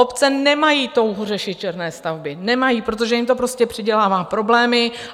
Obce nemají touhu řešit černé stavby, nemají, protože jim to prostě přidělává problémy.